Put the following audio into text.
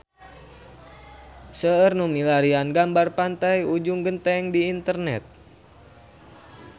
Seueur nu milarian gambar Pantai Ujung Genteng di internet